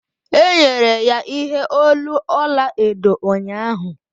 e nyere ya ihe olu ọla edo ụnyahụ